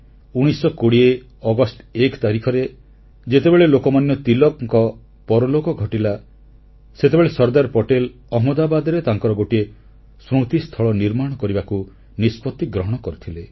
1920 ଅଗଷ୍ଟ 1 ତାରିଖରେ ଯେତେବେଳେ ଲୋକମାନ୍ୟ ତିଳକଙ୍କ ପରଲୋକ ଘଟିଲା ସେତେବେଳେ ସର୍ଦ୍ଦାର ପଟେଲ ଅହମ୍ମଦାବାଦରେ ତାଙ୍କର ଗୋଟିଏ ସ୍ମୃତିସ୍ଥଳ ନିର୍ମାଣ କରିବାକୁ ନିଷ୍ପତ୍ତି ଗ୍ରହଣ କରିଥିଲେ